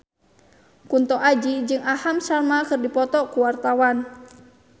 Kunto Aji jeung Aham Sharma keur dipoto ku wartawan